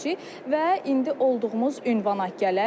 Və indi olduğumuz ünvana gələk.